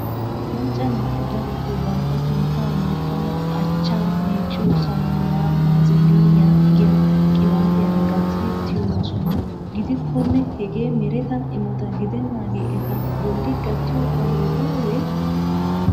macca naati darotoo bantta sintta loyttanaw achcha meecciyo saamuna baziliniyaa giyaa qibaatiyaara gattidi tyyoosona. gidikkone hege mereta immota giddenagee eta bolli gattiyo qohoy baawe?